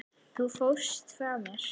Þú fórst frá mér.